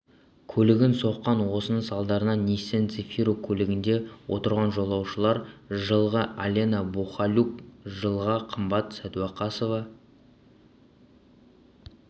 көлігін соққан осының салдарынан ниссан цефиро көлігінде отырған жолаушылар жылғы алена бухалюк жылғы қымбат сәдуақасова